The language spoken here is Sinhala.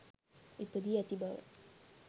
ඉපදී ඇති බව.